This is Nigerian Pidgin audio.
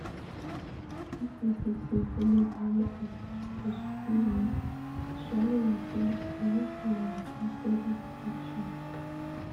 if you fit dey follow the way as e suppose be um to swallow your pill e go help you maintain steady protection